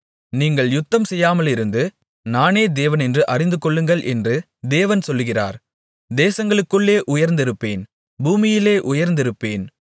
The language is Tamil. நீங்கள் யுத்தம் செய்யாமலிருந்து நானே தேவனென்று அறிந்துகொள்ளுங்கள் என்று தேவன் சொல்லுகிறார் தேசங்களுக்குள்ளே உயர்ந்திருப்பேன் பூமியிலே உயர்ந்திருப்பேன்